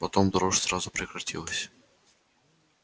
потом дрожь сразу прекратилась